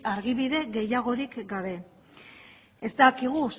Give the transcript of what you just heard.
argibide gehiagorik gabe ez dakigu